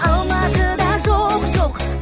алматыда жоқ жоқ